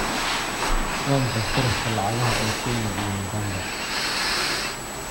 Waa maxay sarifka lacagaha ee Kenya iyo Uganda?